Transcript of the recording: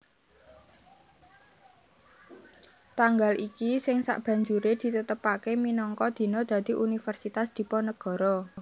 Tanggal iki sing sabanjuré ditetepaké minangka dina dadi Universitas Diponegoro